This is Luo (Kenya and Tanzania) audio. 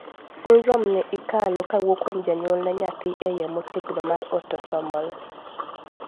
syndrome ni ikalo kawuok kuom janyuol ne nyathi e yoo motegno mar autosomal